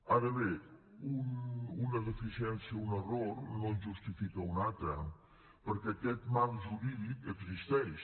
ara bé una deficiència un error no en justifica un altre perquè aquest marc jurídic existeix